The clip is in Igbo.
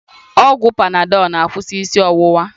Ọgwụ panadọl na-akwụsị isi ọwụwa